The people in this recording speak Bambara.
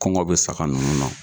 Kɔngɔ be saga nunnu na